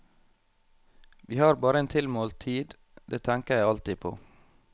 Vi har bare en tilmålt tid, det tenker jeg alltid på.